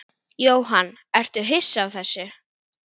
Jóhann: Ertu hissa á þessu?